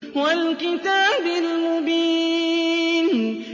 وَالْكِتَابِ الْمُبِينِ